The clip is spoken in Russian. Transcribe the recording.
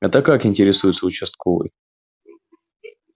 это как интересуется участковый